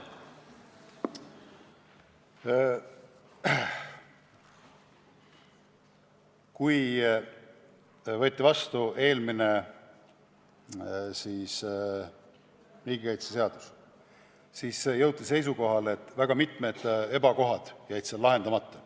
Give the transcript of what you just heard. Kui võeti vastu eelmine riigikaitseseadus, siis jõuti seisukohale, et väga mitmed ebakohad jäid seal lahendamata.